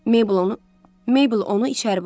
Meybl onu içəri buraxdı.